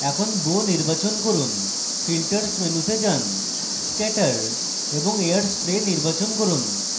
এখন bow নির্বাচন করুন filters মেনুতে যান scatter এবং air spray নির্বাচন করুন